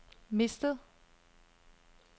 mistet